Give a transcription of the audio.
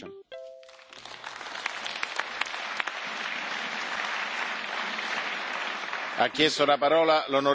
Ha chiesto la parola l'onorevole Bullmann, ma non è che dobbiamo fare un dibattito sull'onorevole Czarnecki, perché la decisione è già stata presa.